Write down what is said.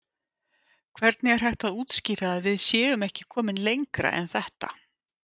Hvernig er hægt að útskýra að við séum ekki komin lengra en þetta?